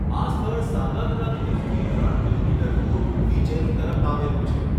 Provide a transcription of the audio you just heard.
આ સ્થળ સાંગાગરા ધોધથી ત્રણ કિલોમીટર દૂર નીચેની તરફ આવેલું છે.